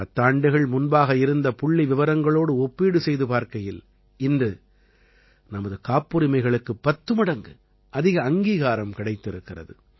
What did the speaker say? பத்தாண்டுகள் முன்பாக இருந்த புள்ளிவிவரங்களோடு ஒப்பீடு செய்து பார்க்கையில் இன்று நமது காப்புரிமைகளுக்கு பத்து மடங்கு அதிக அங்கீகாரம் கிடைத்திருக்கிறது